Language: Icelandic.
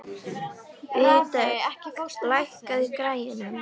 Vígdögg, lækkaðu í græjunum.